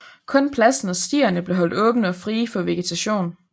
Kun pladsen og stierne blev holdt åbne og frie for vegetation